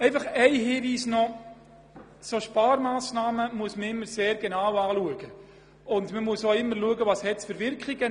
Noch ein Hinweis: Solche Sparmassnahmen muss man immer sehr genau betrachten und die Wirkungen und Nebenwirkungen des Sparpakets anschauen.